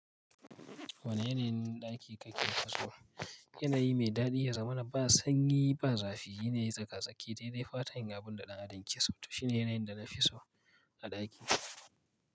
Wane yanayin ɗaki kake so? Yana yi mai daɗi ya zamana ba sanyi ba zafi, yana yi tsaka-tsaki da dai fatan gabon da ɗan adin kiso. To shine yana yin da na fi so a ɗaki.